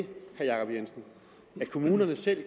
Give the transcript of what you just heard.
kommunerne selv